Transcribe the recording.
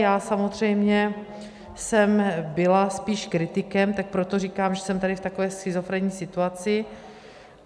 Já samozřejmě jsem byla spíš kritikem, tak proto říkám, že jsem tady v takové schizofrenní situaci.